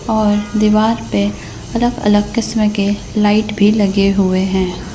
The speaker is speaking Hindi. और दीवार पे अलग-अलग किस्म के लाइट भी लगे हुए हैं।